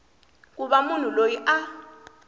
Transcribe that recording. ku va munhu loyi a